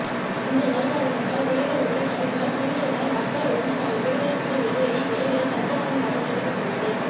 இந்த நிலநடுக்கத்தால் வீடுகள் உள்ளிட்ட கட்டிடங்கள் குலுங்கியதனால் மக்கள் உடனே தங்கள் வீடுகளை விட்டு வெளியேறி வெளிகளில் தஞ்சமடைந்ததாக தெரிவிக்கப்பட்டுள்ளது